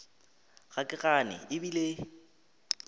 ga ke gane e bile